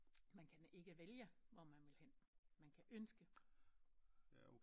Man kan ikke vælge hvor man vil hen man kan ønske